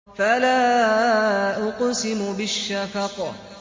فَلَا أُقْسِمُ بِالشَّفَقِ